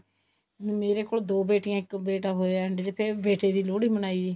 ਮੇਰੇ ਕੋਲ ਦੋ ਬੇਟੀਆਂ ਇੱਕ ਬੇਟਾ ਹੋਇਆ ਫ਼ੇਰ ਮੈਂ ਬੇਟੇ ਦੀ ਲੋਹੜੀ ਮਨਾਈ